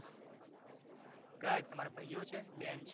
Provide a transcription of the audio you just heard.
કયા છે તમારા ભાઈઓ છે ક બેન છે